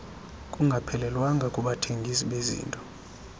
kungaphelelwanga kubathengisi bezinto